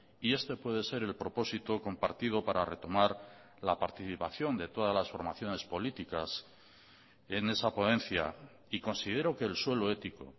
y este puede ser el propósito compartido para retomar la participación de todas las formaciones políticas en esa ponencia y considero que el suelo ético